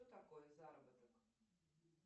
что такое заработок